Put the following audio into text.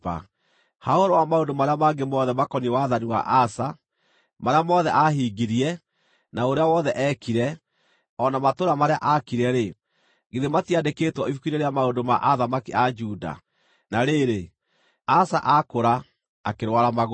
Ha ũhoro wa maũndũ marĩa mangĩ mothe makoniĩ wathani wa Asa, marĩa mothe aahingirie, na ũrĩa wothe eekire, o na matũũra marĩa aakire-rĩ, githĩ matiandĩkĩtwo ibuku-inĩ rĩa maũndũ ma athamaki a Juda? Na rĩrĩ, Asa aakũra akĩrwara magũrũ.